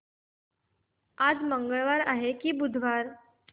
आज मंगळवार आहे की बुधवार